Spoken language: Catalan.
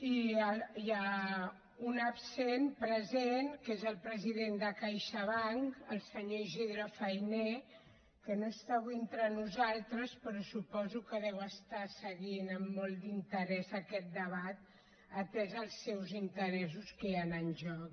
i un absent present que és el president de caixabank el senyor isidre fainé que no està avui entre nosaltres però suposo que deu seguir amb molt d’interès aquest debat atesos els seus interessos que hi han en joc